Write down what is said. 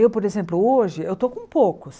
Eu, por exemplo, hoje, eu estou com poucos.